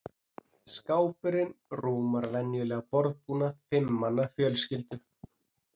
Skápurinn rúmar venjulegan borðbúnað fimm manna fjölskyldu.